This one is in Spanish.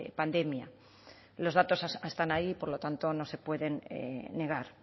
pandemia los datos están ahí por lo tanto no se pueden negar